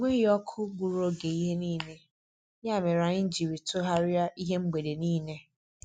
Enweghị ọkụ gburu oge ihe niile, ya mere anyị jiri tọgharịa ihe mgbede niile.